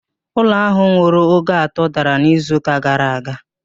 Ụlọ ahụ nwere ogo atọ dara n'izu ụka gara aga